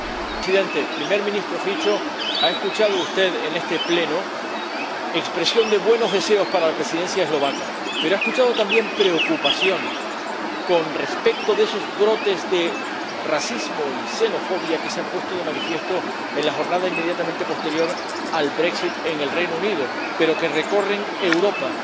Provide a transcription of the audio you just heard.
Señor Presidente, Primer Ministro Fico, ha escuchado usted en este Pleno expresión de buenos deseos para la Presidencia eslovaca, pero ha escuchado también preocupación con respecto a esos brotes de racismo y xenofobia que se han puesto de manifiesto en la jornada inmediatamente posterior al en el Reino Unido, pero que recorren Europa.